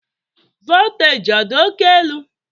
voltaji ọ dị oke elu?